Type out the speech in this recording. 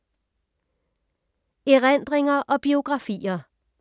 Erindringer og biografier